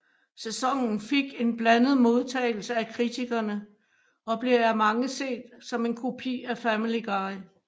Sæsonen fik en blandet modtagelse af kritikerne og blev af mange set som en kopi af Family Guy